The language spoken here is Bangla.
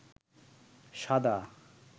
সাদা